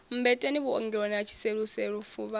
mmbeteni vhuongeloni ha tshiseluselu fuvhalo